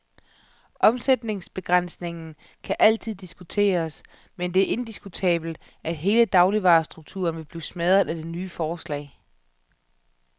Omsætningsbegrænsningen kan altid diskuteres, men det er indiskutabelt, at hele dagligvarestrukturen ville blive smadret af det nye forslag.